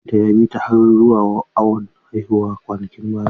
Mijinta ya bi ta har zuwa awon haihuwa kwanakin baya.